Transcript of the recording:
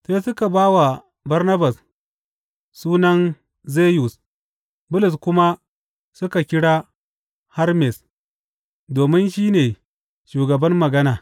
Sai suka ba wa Barnabas, sunan Zeyus, Bulus kuma suka kira Hermes domin shi ne shugaban magana.